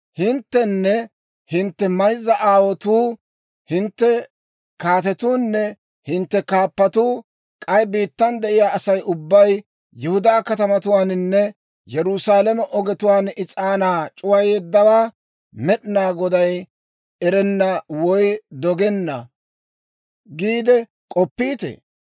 «Hinttenne hintte mayzza aawotuu, hintte kaatetuunne hintte kaappatuu, k'ay biittan de'iyaa Asay ubbay Yihudaa katamatuwaaninne Yerusaalame ogetuwaan is'aanaa c'uwayeeddawaa Med'inaa Goday erenna woy dogeedda giide k'oppiitee?